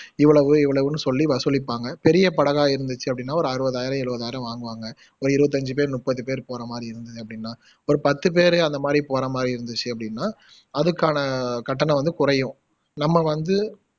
இவ்வளவு இவ்வளவுன்னு சொல்லி வசூலிப்பாங்க பெரிய படகா இருந்துச்சு அப்படின்னா ஒரு அறுவதாயிரம் எழுவதாயிரம் வாங்குவாங்க ஒரு இருவத்தஞ்சு பேரு முப்பது பேர் போறமாதிரி இருந்தது அப்படின்னா ஒரு பத்து பேரு அந்த மாதிரி போற மாதிரி இருந்துச்சு அப்படின்னா அதுக்கான கட்டணம் வந்து குறையும் நம்ம வந்து